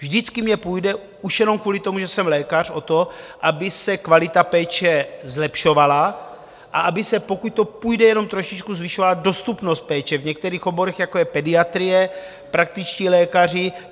Vždycky mně půjde, už jenom kvůli tomu, že jsem lékař, o to, aby se kvalita péče zlepšovala a aby se, pokud to půjde jenom trošičku, zvyšovala dostupnost péče v některých oborech, jako je pediatrie, praktičtí lékaři.